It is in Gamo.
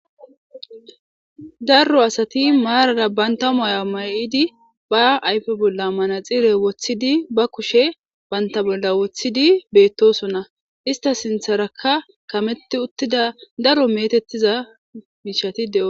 Daro asati marara banitta maauwa mayiddi baa ayife bolla manexxire woththidi baa kushshe banitta bolla woththidi betosona .isita sinththerakka kametti uttida daro metetiza mishati de'esona.